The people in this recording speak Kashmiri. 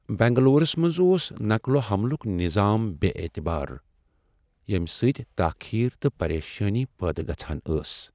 بنگلورس منٛز اوس نقل و حملک نظام بے٘ اعتبار ، ییٚمہٕ سۭتۍ تاخیر تہٕ پریشٲنی پٲدٕ گژھان ٲس ۔